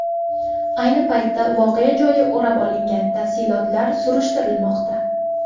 Ayni paytda voqea joyi o‘rab olingan, tafsilotlar surishtirilmoqda.